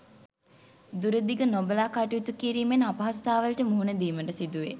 දුර දිග නොබලා කටයුතු කිරීමෙන් අපහසුතාවලට මුහුණ දීමට සිදුවේ.